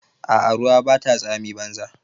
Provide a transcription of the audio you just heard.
A'a ruwa Bata tsami banza.